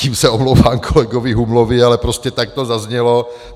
Tím se omlouvám kolegovi Humlovi, ale prostě tak to zaznělo.